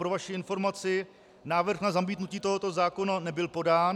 Pro vaši informaci, návrh na zamítnutí tohoto zákona nebyl podán.